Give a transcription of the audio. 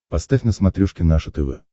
поставь на смотрешке наше тв